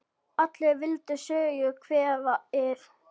Allir vildu Sögu kveðið hafa.